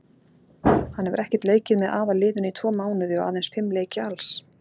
Hann hefur ekkert leikið með aðalliðinu í tvo mánuði og aðeins fimm leiki alls.